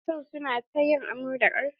Matasan su na ta yin amo da karfi.